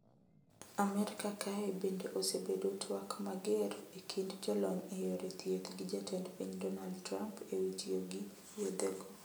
Amerka kae bende osebedo twak mager e kind jolony e yore thieth gi jatend piny Donald Trump ewi tiyo gi yethego.